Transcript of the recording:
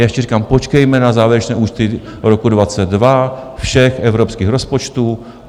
Já ještě říkám, počkejme na závěrečné účty roku 2022 všech evropských rozpočtů.